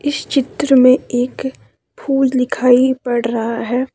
इस चित्र में एक फूल दिखाई पड़ रहा है।